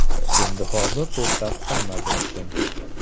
Endi hozir to‘xtab qolmadi ishim”.